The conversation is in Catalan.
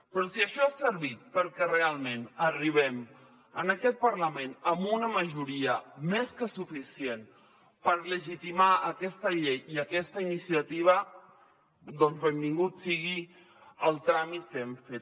però si això ha servit perquè realment arribem en aquest parlament amb una majoria més que suficient per legitimar aquesta llei i aquesta iniciativa doncs benvingut sigui el tràmit que hem fet